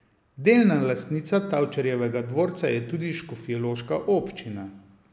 Delna lastnica Tavčarjevega dvorca je tudi škofjeloška občina.